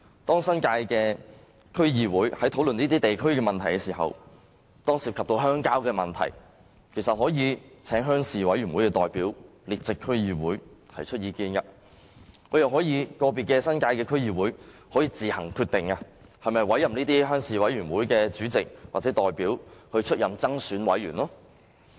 當新界的區議會在討論這些地區的問題時，遇到涉及鄉郊的事宜，其實可以請鄉事委員會的代表列席區議會會議，提出意見，又或由個別新界的區議會自行決定是否委任這些鄉事委員會的主席或代表出任增選委員。